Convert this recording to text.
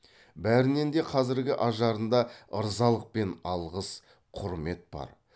бәрінін де қазіргі ажарында ырзалық пен алғыс құрмет бар